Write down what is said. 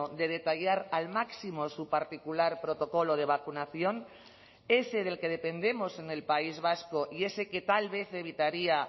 de detallar al máximo su particular protocolo de vacunación ese del que dependemos en el país vasco y ese que tal vez evitaría